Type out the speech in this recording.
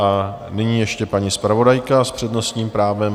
A nyní ještě paní zpravodajka s přednostním právem.